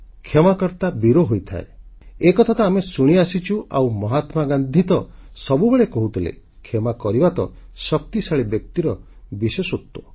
କ୍ଷମାକର୍ତା ବୀର ହୋଇଥାଏ ଏକଥା ତ ଆମେ ଶୁଣିଆସିଛୁ ଆଉ ମହାତ୍ମାଗାନ୍ଧୀ ତ ସବୁବେଳେ କହୁଥିଲେ କ୍ଷମା କରିବା ତ ଶକ୍ତିଶାଳୀ ବ୍ୟକ୍ତିର ବିଶେଷତ୍ୱ